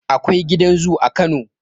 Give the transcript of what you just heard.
Akwai gidan zu a kano